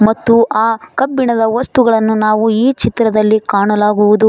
ಮತ್ತು ಆ ಕಬ್ಬಿಣದ ವಸ್ತುಗಳನ್ನು ನಾವು ಈ ಚಿತ್ರದಲ್ಲಿ ಕಾಣಲಾಗುವುದು.